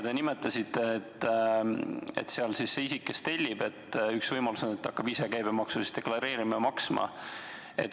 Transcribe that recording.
Te nimetasite, et üks võimalusi on, et see isik, kes tellib, hakkab ise käibemaksu deklareerima ja maksma.